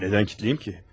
Nədən kilitleyəm ki?